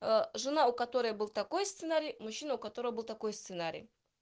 жена у которой был такой сценарий мужчина у которого был такой сценарий